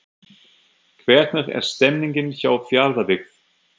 Hvernig er stemningin hjá Fjarðabyggð?